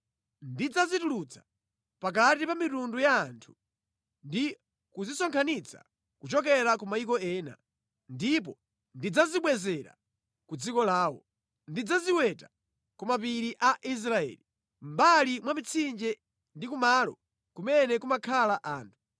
Ndidzazitulutsa pakati pa mitundu ya anthu ndi kuzisonkhanitsa kuchokera ku mayiko ena, ndipo ndidzazibwezera ku dziko lawo. Ndidzaziwetera ku mapiri a Israeli, mʼmbali mwa mitsinje ndi kumalo kumene kumakhala anthu.